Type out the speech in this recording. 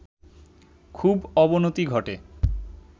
খুব অবনতি ঘটে